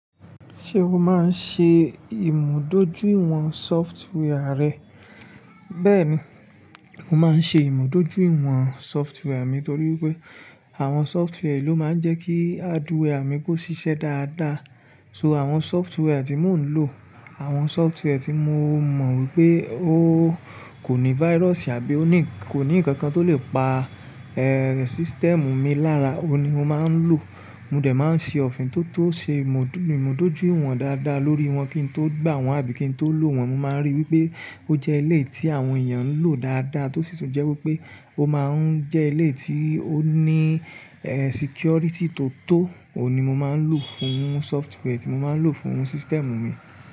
Ṣé o máa ń ṣe ìmùdójúìwọ̀n software rẹ? Bẹ́ẹ̀ni, mo máa ń ṣe ìmùdójúìwọ̀n software mi nítorí pé àwọn software ló máa ń jẹ́ kí hardware mi kó ṣiṣẹ́ dáadáa. So àwọn software tí mò ń lò, àwọn software tí mo mọ wípé ó kò ní virus àbí kò ní ìkankan tó lè pa, eh, system mi lára, òun ni mo máa ń lò. Mo dẹ̀ máa ń ṣe òfin tó tó ṣe ìmùdójúìwọ̀n dáadáa lórí wọn kí n tó gbà wọ́n àbí kí n tó lò wọ́n. Mo máa ń ríi wípé ó jẹ́ ilé tí àwọn èèyàn ń lò dáadáa tó sì tún jẹ́ wípé ó máa ń jẹ́ ilé tí ó ní, eh, security tó tó, òun ni mo máa ń lò fún software tí mo máa ń lò fún system mi.